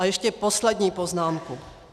A ještě poslední poznámku.